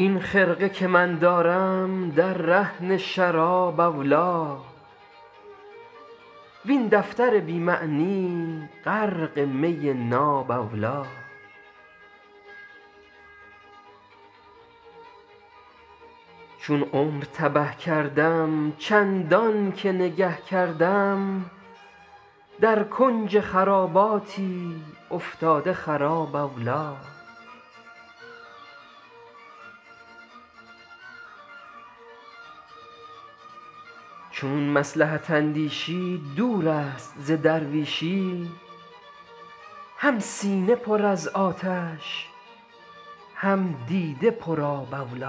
این خرقه که من دارم در رهن شراب اولی وین دفتر بی معنی غرق می ناب اولی چون عمر تبه کردم چندان که نگه کردم در کنج خراباتی افتاده خراب اولی چون مصلحت اندیشی دور است ز درویشی هم سینه پر از آتش هم دیده پرآب اولی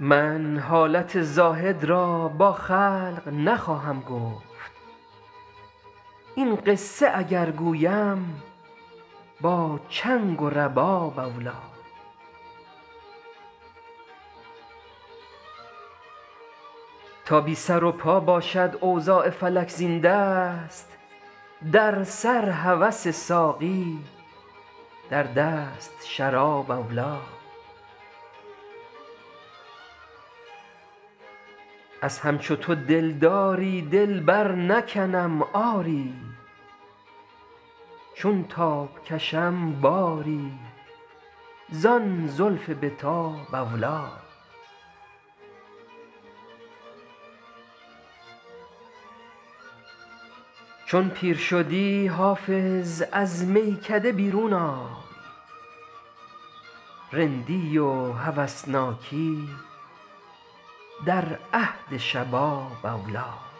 من حالت زاهد را با خلق نخواهم گفت این قصه اگر گویم با چنگ و رباب اولی تا بی سر و پا باشد اوضاع فلک زین دست در سر هوس ساقی در دست شراب اولی از همچو تو دلداری دل برنکنم آری چون تاب کشم باری زان زلف به تاب اولی چون پیر شدی حافظ از میکده بیرون آی رندی و هوسناکی در عهد شباب اولی